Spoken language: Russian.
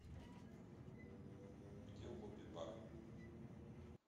где лобби бар